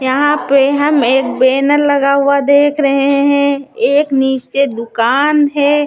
यहाँ पे हम एक बेनर लगा हुआ देख रहे हैं एक नीचे दुकान है।